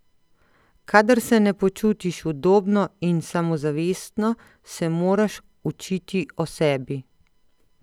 Kadar se ne počutiš udobno in samozavestno, se moraš učiti o sebi.